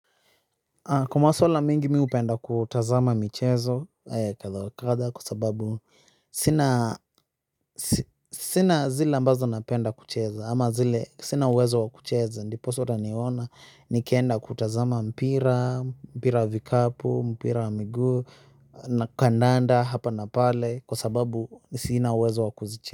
Kwa maswala mingi mi hupenda kutazama michezo kadha wa kadha kwa sababu sina zile ambazo napenda kucheza ama zile sina uwezo wakucheza ndiposa utaniona nikienda kutazama mpira mpira wa vikapu, mpira wa miguu na kandanda hapa na pale kwa sababu sina uwezo wakucheza.